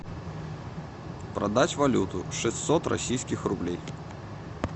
продать валюту шестьсот российских рублей